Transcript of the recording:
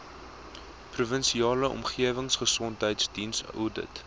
provinsiale omgewingsgesondheidsdiens oudit